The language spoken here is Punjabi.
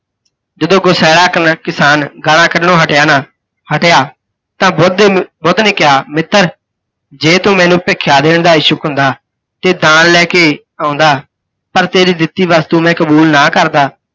ਜਦੋਂ ਗੁਸੈਲਾ ਕਿਸਾਨ ਗਾਲਾਂ ਕੱਢਣੋ ਹਟਿਆ ਨਾ ਹਟਿਆ, ਤਾਂ ਬੁੱਧ ਨੇ ਬੁੱਧ ਨੇ ਕਿਹਾ, ਮਿੱਤਰ! ਜੇ ਤੂੰ ਮੈਨੂੰ ਭਿੱਖਿਆ ਦੇਣ ਦਾ ਇਛੁੱਕ ਹੁੰਦਾ ਤੇ ਦਾਣ ਲੈਕੇ ਆਉੰਦਾ ਤਾਂ ਤੇਰੀ ਦਿੱਤੀ ਵਸਤੂ ਮੈਂ ਕਬੂਲ ਨਾ ਕਰਦਾ